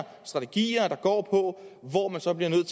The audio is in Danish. strategier der går på hvor man så bliver nødt